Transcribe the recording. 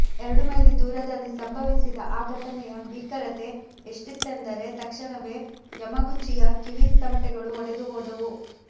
ಎರಡು ಮೈಲಿ ದೂರದಲ್ಲಿ ಸಂಭವಿಸಿದ ಆ ಘಟನೆಯ ಭೀಕರತೆ ಎಷ್ಟಿತ್ತೆಂದರೆ ತಕ್ಷಣವೇ ಯಮಗುಚಿಯ ಕಿವಿ ತಮಟೆಗಳು ಒಡೆದುಹೋದವು